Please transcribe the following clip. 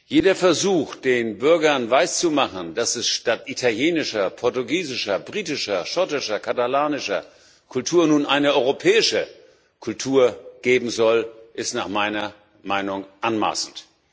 Jeder Versuch, den Bürgern weiszumachen, dass es statt italienischer, portugiesischer, britischer, schottischer, katalanischer Kultur nun eine europäische Kultur geben soll, ist nach meiner Meinung anmaßend.